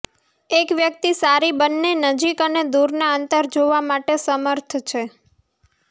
એક વ્યક્તિ સારી બંને નજીક અને દૂરના અંતર જોવા માટે સમર્થ છે